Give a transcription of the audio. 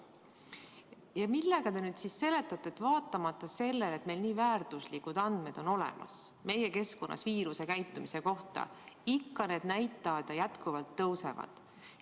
Ja millega te seletate seda, et vaatamata sellele, et meil on olemas nii väärtuslikud andmed meie keskkonnas viiruse käitumise kohta, ikka nakatumisnäitajad jätkuvalt tõusevad?